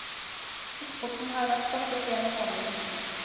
Eksporten har vært stoppet en måned hittil.